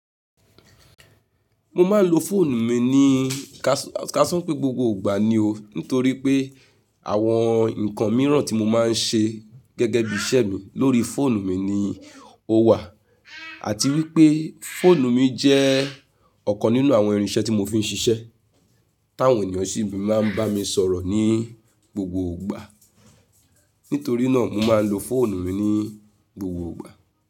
Mo máa ń lo fóònù mi ní kásán pé gbogbo ìgbà ni o, nítorí pé àwọn nǹkan mìíràn tí mo máa ń ṣe gẹ́gẹ́ bí i iṣẹ́ mi lórí fóònù mi ni ó wà àti wípé fóònù mi jẹ́ ọ̀kan nínú àwọn irinṣẹ́ tí mo fi ń ṣiṣẹ́, táwọn ènìyàn sì máa ń bá mi sọ̀rọ̀ ní gbogbo ìgbà. Nítorí náà mo máa ń lo fóònù mi ní gbogbo ìgbà.